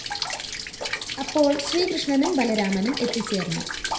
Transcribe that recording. അപ്പോള്‍ ശ്രീകൃഷ്ണനും ബലരാമനും എത്തിച്ചേര്‍ന്നു